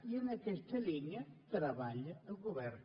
i en aquesta línia treballa el govern